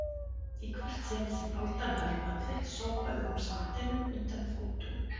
Í hvert sinn sem aldan hörfaði sópaði hún sandinum undan fótum